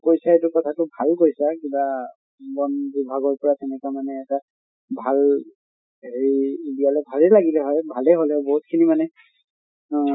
কৈছে এইটো কথা টো ভাল কৈছা কিবা বন বিভাগৰ পৰা তেনেকা মানে এটা ভাল হেৰি ভালে লাগিলে হয়, ভালে হʼলে হয় বহুত খিনি মানে ঊম